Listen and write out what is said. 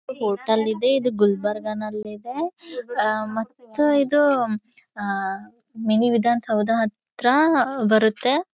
Hotel ಇದೆ ಇದು ಗುಲ್ಬರ್ಗಾ ನಲ್ಲಿದೆ ಅಹ್ ಮತ್ತು ಇದು ಅಹ್ ಮಿನಿ ವಿಧಾನಸೌಧ ಹತ್ರ ಬರುತ್ತೆ .